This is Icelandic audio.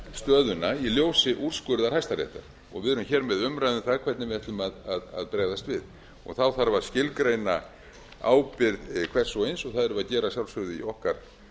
stöðuna í ljósi úrskurðar hæstaréttar og við erum með umræðu um það hvernig við ætlum að bregðast við þá þarf að skilgreina ábyrgð hvers og eins og það þarf að gera að sjálfsögðu í okkar